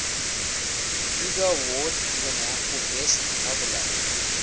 hugo award winner for best novella